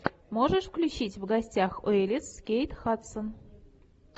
можешь включить в гостях у элис с кейт хадсон